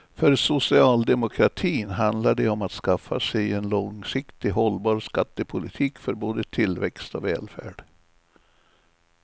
För socialdemokratin handlar det om att skaffa sig en långsiktigt hållbar skattepolitik för både tillväxt och välfärd.